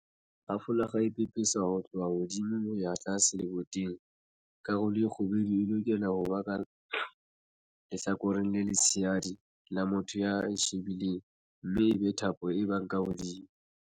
Ha folakga e pepeswa ho tloha hodimo ho ya tlase leboteng, karolo e kgubedu e lokela ho ba ka lehlakoreng le letshehadi la motho ya e shebileng mme ebe thapo e ba ka hodimo.